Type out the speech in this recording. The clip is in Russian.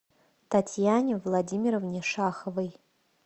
татьяне владимировне шаховой